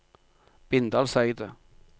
Bindalseidet